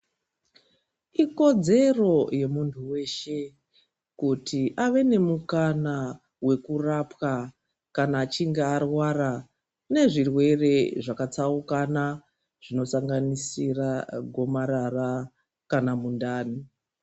Ikodzero yemunhu weshe kuti ave nemukana wekurapwa kana achinge arwara nezvirwere zvakatsaukana zvinosanganisira gomarara kana mundani.